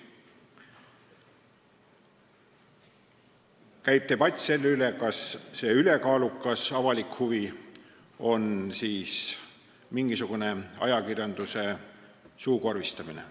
Meil käib debatt selle üle, kas see ülekaalukas avalik huvi tähendab mingisugust ajakirjanduse suukorvistamist.